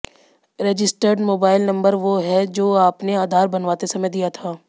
registered mobile number वो है जो आपने आधार बनवाते समय दिया था